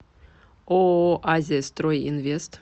ооо азия строй инвест